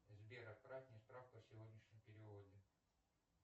сбер отправь мне справку о сегодняшнем переводе